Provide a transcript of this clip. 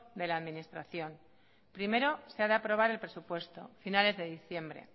de la administración primero se ha de aprobar el presupuesto finales de diciembre